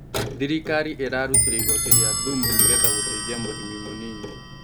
Thirikari ĩrarutire igoti ria thumu nĩgetha guteithia mũrĩmi mũnini